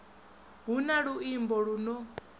hu na luimbo lu no